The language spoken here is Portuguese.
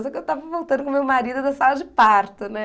Só que eu tava voltando com meu marido da sala de parto, né?